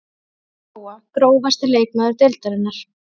Ragna Lóa Grófasti leikmaður deildarinnar?